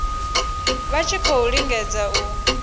vha tshi khou lingedza u